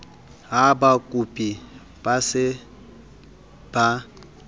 ha bakopi e se e